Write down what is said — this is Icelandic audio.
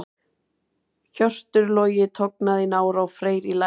Hjörtur Logi tognaði í nára og Freyr í læri.